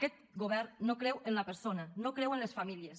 aquest govern no creu en la persona no creu en les famílies